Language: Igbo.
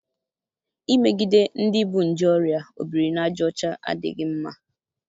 imegide ndị bu nje oria obiri na aja ocha adịghị mma.